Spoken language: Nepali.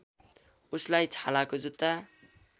उसलाई छालाको जुता